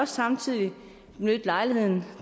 samtidig benytte lejligheden